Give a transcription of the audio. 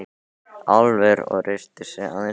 Álfur og reisti sig aðeins upp.